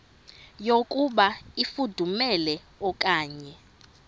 yokuba ifudumele okanye